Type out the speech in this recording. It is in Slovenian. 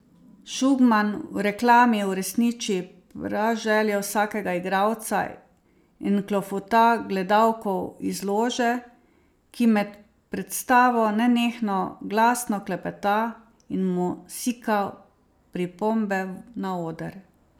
Šugman v reklami uresniči praželjo vsakega igralca in oklofuta gledalko iz lože, ki med predstavo nenehno glasno klepeta in mu sika pripombe na oder.